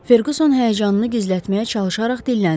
Ferquson həyəcanını gizlətməyə çalışaraq dilləndi.